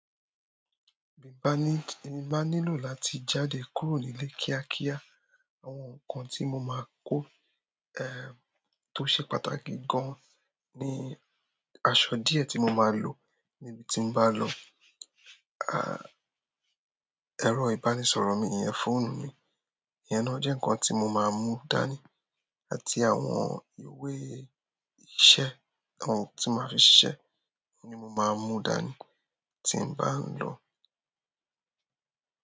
Bi mo ba nílò láti jáde kúrò nílé kíá kíá, àwọn nǹkan tí mo máa kó, ẹ́, tó ṣe pàtàkì gan-an ni aṣọ díẹ̀ tí mo máa lò níbiti n bá lọ, a, ẹ̀rọ ìbánisọ̀rọ̀ mi, ìyẹn fóònù mi, ìyẹn náà jẹ́ nǹkan tí mo máa mú dání àti àwọn ìwé iṣẹ́, àwọn ohun tí mo máa fi ṣiṣẹ́ ni mo máa mú dání tí n bá ń lọ.